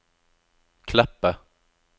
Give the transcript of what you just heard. Kleppe